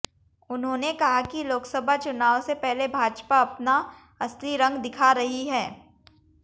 उन्होंने कहा कि लोकसभा चुनाव से पहले भाजपा अपना असली रंग दिखा रही है